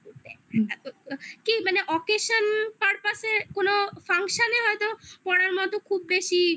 কি মানে occasion purpose এ কোনো function এ হয়তো পড়ার মতো খুব বেশি